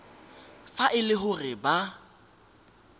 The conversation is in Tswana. fa e le gore ba